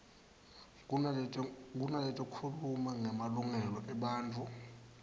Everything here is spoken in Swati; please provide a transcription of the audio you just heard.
kunaletikhuluma ngemalungelo ebantfu